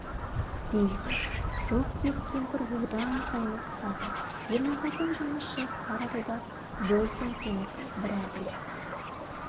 дейді жоқ деп кемпір одан сайын қысады ерназардың жаны шығып барады да болсын сенікі бір әділ